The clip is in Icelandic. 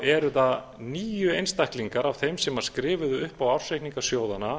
eru það níu einstaklingar af þeim sem skrifuðu upp á ársreikninga sjóðanna